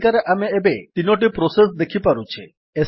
ତାଲିକାରେ ଆମେ ଏବେ ୩ଟି ପ୍ରୋସେସ୍ ଦେଖିପାରୁଛେ